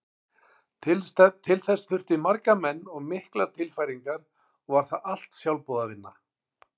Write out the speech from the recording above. Til þess þurfti marga menn og miklar tilfæringar og var það allt sjálfboðavinna.